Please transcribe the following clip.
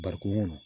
Barikon kɔnɔ